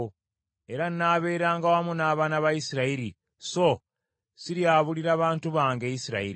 Era nnaabeeranga wamu n’abaana ba Isirayiri, so siryabuulira bantu bange Isirayiri.”